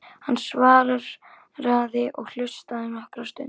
Hann svaraði og hlustaði nokkra stund.